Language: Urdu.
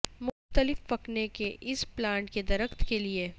مختلف پکنے کے اس پلانٹ کے درخت کے لئے